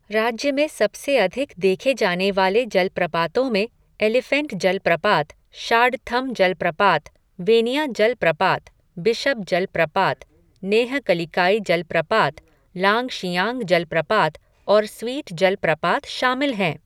राज्य में सबसे अधिक देखे जाने वाले जलप्रपातों में एलिफेंट जलप्रपात, शाडथम जलप्रपात, वेनिया जलप्रपात, बिशप जलप्रपात, नोहकलिकाई जलप्रपात, लांगशियांग जलप्रपात, और स्वीट जलप्रपात शामिल हैं।